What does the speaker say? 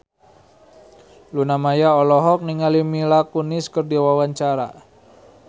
Luna Maya olohok ningali Mila Kunis keur diwawancara